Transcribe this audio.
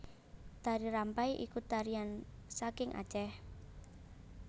Tari Rampai iku tarian sangking Aceh